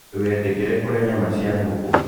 Ndũgetĩkĩre kũrĩa nyama cia ngũkũ.